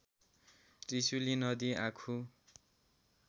त्रिशुली नदी आँखु